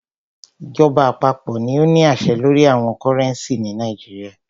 Ìjọba àpapọ̀ ní o ní àṣẹ lórí owo cúrẹ́ncì ni Nàìjíríà.